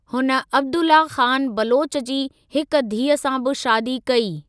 हुन अब्दुल्ला ख़ान बलोच जी हिक धीअ सां बि शादी कई।